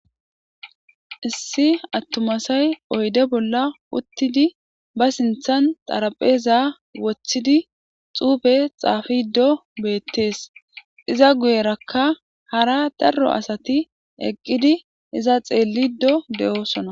issi attumasay oyde bolla uttidi ba sinthan xarapheza woththidi xuufe xaafido beettees iza guyerakka hara darro asati eqqidi iza xeellido de7osona